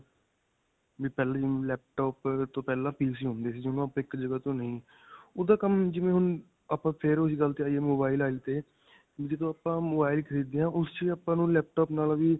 ਵੀ ਪਹਿਲੇ laptop ਤੋਂ ਪਹਿਲਾਂ PC ਹੁੰਦੇ ਸੀ, ਜਿਨੂੰ ਆਪਾਂ ਇੱਕ ਜਗ੍ਹਾ ਤੋਂ ਨਹੀਂ ਓਹਦਾ ਕੰਮ ਜਿਵੇਂ ਹੁਣ ਆਪਾਂ ਫਿਰ ਓਹੀ ਗੱਲ ਤੇ ਆਈਏ mobile ਵਾਲੀ ਤੇ ਜਦੋਂ ਆਪਾਂ mobile ਖਰੀਦ ਦੇ ਹਾਂ ਉਸ ਵਿੱਚ ਆਪਾਂ ਨੂੰ laptop ਨਾਲੋਂ ਵੀ.